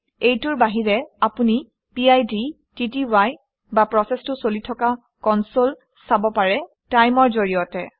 এইটোৰ বাহিৰে আপুনি পিড টিটিআই বা প্ৰচেচটো চলি থকা কনচলে চাব পাৰে TIME অৰ জৰিয়তে